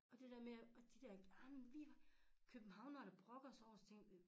Og det dér med og de dér ej men vi københavnere der brokker sig så tænkte